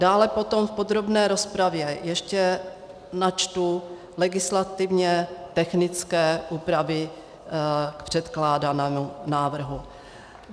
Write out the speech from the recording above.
Dále potom v podrobné rozpravě ještě načtu legislativně technické úpravy k předkládanému návrhu.